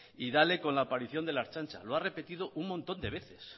y dale con la aparición de la ertzaintza lo ha repetido un montón de veces